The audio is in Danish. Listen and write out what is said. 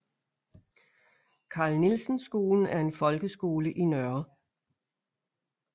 Carl Nielsen Skolen er en folkeskole i Nr